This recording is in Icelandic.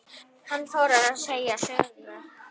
Hann fór að segja sögu.